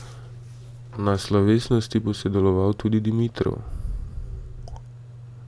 Na slovesnosti bo sodeloval tudi Dimitrov.